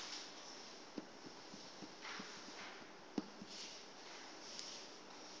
ngumasango